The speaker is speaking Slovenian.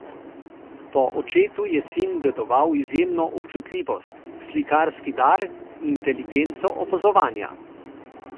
Po očetu je sin dedoval izjemno občutljivost, slikarski dar, inteligenco opazovanja.